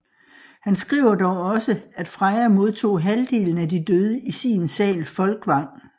Han skriver dog også at Freja modtog halvdelen af de døde i sin sal Folkvang